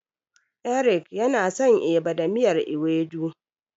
Eric yana son Eba da miyar Ewedu.